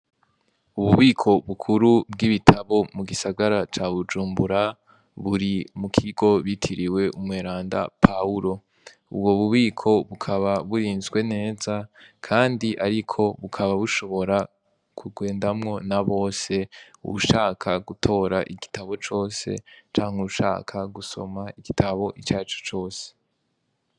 Ububiko bukuru bw'ibitabo mu gisagara ca Bujumbura buri mu kigo bitiriwe umweranda Pawuro, ubwo bubiko bukaba burinzwe neza, kandi ariko bukaba bushobora kugendwamwo na bose, uwushaka gutora igitabo cose canke uwushaka gusoma igitabo icarico cose.